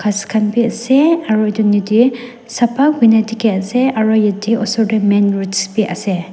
bi asey aro etu deh sapha kuina dikhi asey aro yete osor deh main roads bi asey.